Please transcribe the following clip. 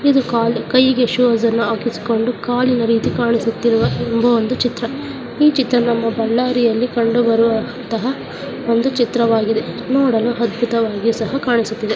ಇದು ಕಾಲ್ ಕೈಗೆ ಶೂಸ್ ನ್ನು ಹಾಕಿಸಿಕೊಂಡು ಕಾಲಿನ ರೀತಿಯಲ್ಲಿ ಕಾಣಿಸುತ್ತಿರುವ ಎಂಬ ಒಂದು ಚಿತ್ರ ಇ ಚಿತ್ರ ನಮ್ಮ ಬಳ್ಳಾರಿಯಲ್ಲಿ ಕಂಡುಬರುವಂತಹ ಒಂದು ಚಿತ್ರವಾಗಿದೆ ನೋಡಲು ಅದ್ಬುತವಾಗಿಯೂ ಸಹ ಕಾಣಿಸುತ್ತಿದೆ.